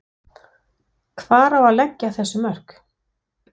Hvar á að leggja þessi mörk?